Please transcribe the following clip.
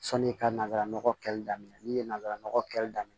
Sɔni i ka nanzara nɔgɔ kɛli daminɛ n'i ye nanzara nɔgɔ kɛli daminɛ